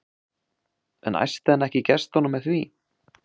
En æsti hann ekki í gestunum með því?